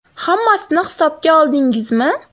Hammasini hisobga oldingizmi?